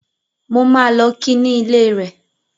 Mo máa lọ ki ní ilé rẹ̀